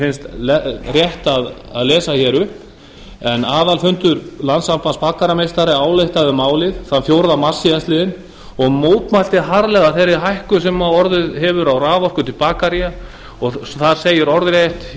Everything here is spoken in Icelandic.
finnst rétt að lesa upp en aðalfundur landssambands bakarameistara ályktaði um málið þann fjórða mars síðastliðinn og mótmælti harðlega þeirri hækkun sem orðið hefur á raforku til bakaría og þar segir orðrétt